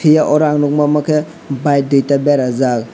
pia oro ang nugma ke bike duita berajaak.